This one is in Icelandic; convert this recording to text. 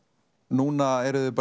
núna eruð þið